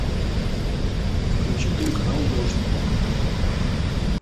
включи телеканал дождь